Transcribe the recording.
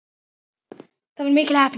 Það var mikil heppni